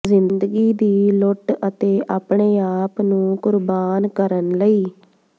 ਜ਼ਿੰਦਗੀ ਦੀ ਲੁੱਟ ਅਤੇ ਆਪਣੇ ਆਪ ਨੂੰ ਕੁਰਬਾਨ ਕਰਨ ਲਈ